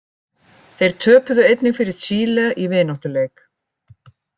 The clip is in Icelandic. Þeir töpuðu einnig fyrir Chile í vináttuleik.